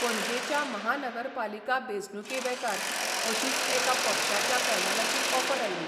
पणजेच्या महानगरपालिका बेंचणुके बेकार अशीच एका पक्षाच्या पॅनलाची ऑफर आयली.